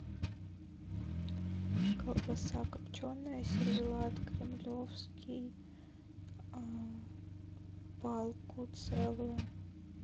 колбаса копченая сервелат кремлевский палку целую